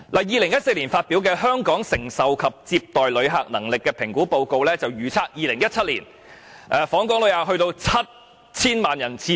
2014年發表的《香港承受及接待旅客能力評估報告》預測 ，2017 年訪港旅客將會上升至 7,000 萬人次。